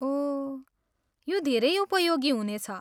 ओह, यो धेरै उपयोगी हुनेछ।